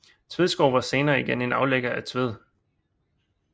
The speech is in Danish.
Tvedskov var senere igen en aflægger af Tved